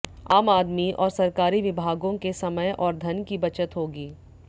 आम आदमी और सरकारी विभागों के समय और धन की बचत होगी